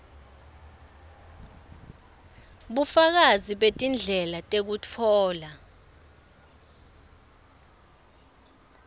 bufakazi betindlela tekutfola